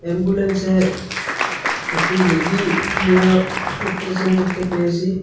এম্বুলেন্সে একটি রুগী নিয়া উঠতেসেন দেখতে পেয়েসি।